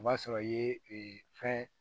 O b'a sɔrɔ i ye fɛn